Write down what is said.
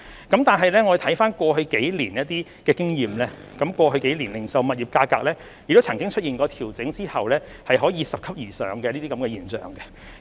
但是，我們觀乎過去數年的經驗，零售物業價格亦出現過在調整後拾級而上的現象。